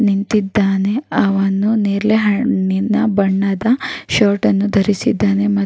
ನಿಂತಿದ್ದಾನೆ. ಅವನು ನೇರಳೆ ಹಣ್ಣಿನ ಬಣ್ಣದ ಶರ್ಟ್ ಅನ್ನು ಧರಿಸಿದ್ದಾನೆ ಮತ್ --